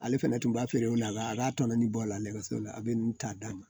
Ale fɛnɛ tun b'a feere o la a b'a tɔɔni bɔ o la nɛgɛso la a bɛ n ta d'a ma